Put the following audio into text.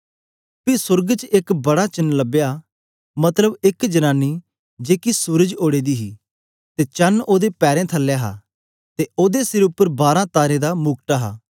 पी सोर्ग च एक बड़ा चेन्न लबया मतलब एक जनानी जेकी सूरज ओड़े दी हे ते चण ओदे पैरें थलै हा ते ओदे सिर उपर बारें तारें दा मुकुट हा